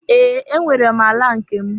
Ee, enwere m ala nke m.